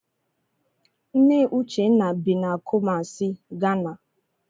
Nne Uchenna bi na Kumasi, Ghana.